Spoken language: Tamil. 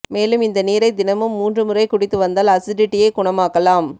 மேலும் இந்த நீரை தினமும் மூன்று முறை குடித்து வந்தால் அசிடிட்டியை குணமாக்கலாம்